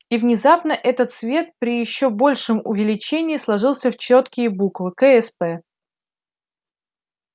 и внезапно этот свет при ещё большем увеличении сложился в чёткие буквы ксп